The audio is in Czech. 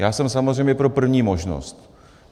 Já jsem samozřejmě pro první možnost.